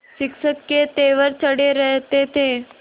शिक्षक के तेवर चढ़े रहते थे